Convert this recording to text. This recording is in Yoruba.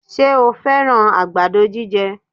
Ṣe o fẹ́rán àgbàdo jíjẹ?